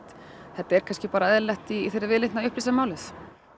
þetta er kannski eðlilegt í þeirri viðleitni að upplýsa málið